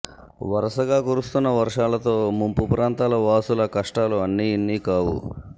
వరుసగా కురుస్తున్న వర్షాలతో ముంపు ప్రాంతాల వాసుల కష్టాలు అన్నీ ఇన్నీ కావు